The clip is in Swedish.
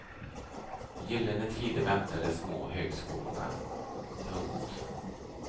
Gyllene tider väntar de små högskolorna. punkt